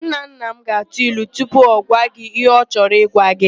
Nnanna m ga-atụ ilu tupu ọ gwa gị ihe ọ chorọ ịgwa gị.